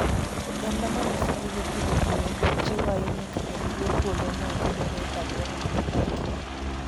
Oganda ma loso gige pidho gwen jiwo ahinya kaka gige puodhono yudore e alwora ma gidakie.